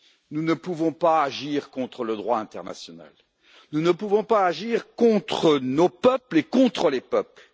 Nous ne pouvons pas agir contre le droit international, nous ne pouvons pas agir contre nos peuples et contre les peuples.